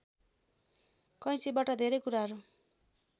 कैचीबाट धेरै कुराहरू